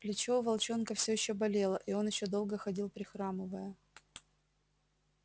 плечо у волчонка всё ещё болело и он ещё долго ходил прихрамывая